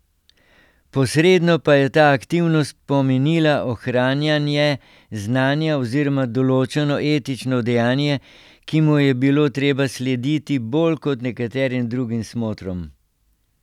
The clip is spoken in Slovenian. Posredno pa je ta aktivnost pomenila ohranjanje znanja oziroma določeno etično dejanje, ki mu je bilo treba slediti bolj kot nekaterim drugim smotrom.